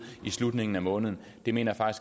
i slutningen af måneden det mener jeg